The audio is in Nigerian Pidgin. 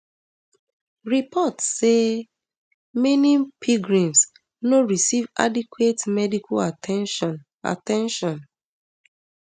reports dey say many pilgrims no receive adequate medical at ten tion at ten tion